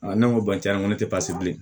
ne ko cɛn ko ne tɛ pasi bilen